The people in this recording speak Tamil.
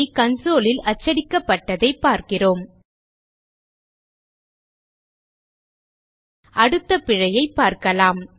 console லில் அச்சடிக்கப்பட்டதை பார்க்கிறோம் அடுத்த பிழையைப் பார்க்கலாம்